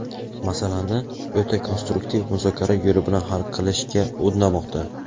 masalani o‘ta konstruktiv muzokara yo‘li bilan hal qilishga undamoqda.